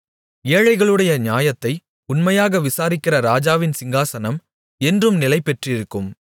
ஏழைகளுடைய நியாயத்தை உண்மையாக விசாரிக்கிற ராஜாவின் சிங்காசனம் என்றும் நிலைபெற்றிருக்கும்